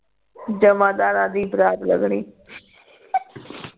ਜਮਾਦਾਰਾਂ ਦੀ ਬਰਾਤ ਲੰਗਣੀ